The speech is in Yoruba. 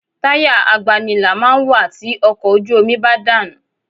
Táyà agbanilà máa ń wà tí ọkọ̀ ojú omi bá dànù